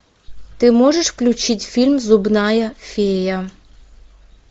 ты можешь включить фильм зубная фея